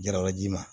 Jaralaji ma